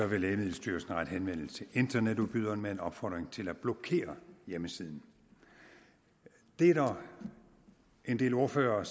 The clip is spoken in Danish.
vil lægemiddelstyrelsen rette henvendelse til internetudbyderen med en opfordring til at blokere hjemmesiden det er der en del ordførere